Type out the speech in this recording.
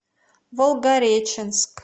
волгореченск